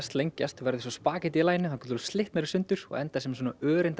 lengjast verða eins og spaghettí í laginu þangað til þú slitnar í sundur og endar sem svona